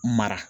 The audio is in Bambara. Mara